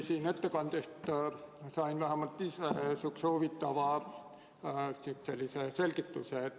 Teie ettekandest sain ma ühe huvitava selgituse.